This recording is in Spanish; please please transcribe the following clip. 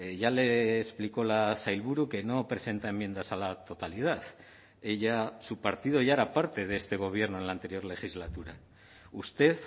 ya le explicó la sailburu que no presenta enmiendas a la totalidad ella su partido ya era parte de este gobierno en la anterior legislatura usted